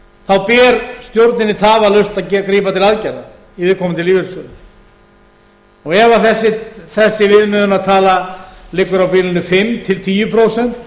þá ber stjórninni tafarlaust að grípa til aðgerða í viðkomandi lífeyrissjóði og ef þessi viðmiðunartala liggur á bilinu fimm til tíu prósent